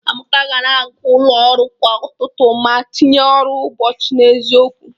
Amaka ka na-aga ụlọ ọrụ kwa ụtụtụ ma tinye ọrụ ụbọchị n'eziokwu